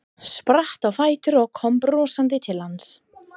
Spratt á fætur og kom brosandi til hans.